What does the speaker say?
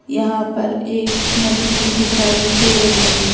यहाँ पर एक नदी भी दिखाई दे रही है।